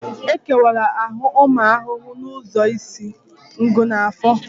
E kewara ahụ ụmụ ahụhụ ụzọ isi, ngụ na afọ